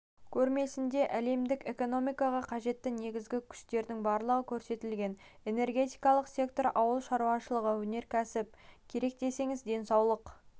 көрмесінде әлемдік экономикаға қажет негізгі күштердің барлығы көрсетілген энергетикалық сектор ауыл шаруашылығы өнеркәсіп керек десеңіз денсаулық